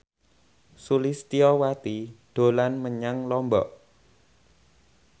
Sulistyowati dolan menyang Lombok